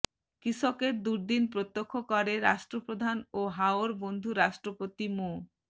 কৃষকের দুর্দিন প্রত্যক্ষ করে রাষ্ট্রপ্রধান ও হাওর বন্ধু রাষ্ট্রপতি মো